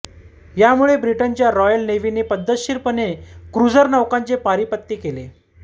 यामुळे ब्रिटनच्या रॉयल नेव्हीने पद्धतशीरपणे क्रुझर नौकांचे पारिपत्य केले